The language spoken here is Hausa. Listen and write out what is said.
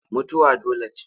Mutuwa dole ce.